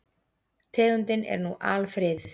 Tegundin er nú alfriðuð.